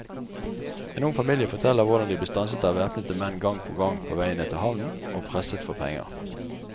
En ung familie forteller hvordan de ble stanset av væpnede menn gang på gang på veien ned til havnen og presset for penger.